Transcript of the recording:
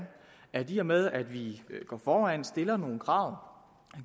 at i og med at vi går foran og stiller nogle krav